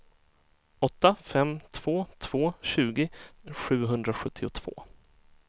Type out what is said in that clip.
åtta fem två två tjugo sjuhundrasjuttiotvå